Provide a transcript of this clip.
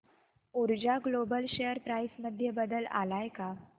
ऊर्जा global share price मध्ये बदल आलाय का